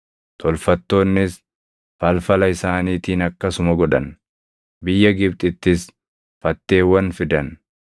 Tolfattoonnis falfala isaaniitiin akkasuma godhan; biyya Gibxittis fatteewwan fidan.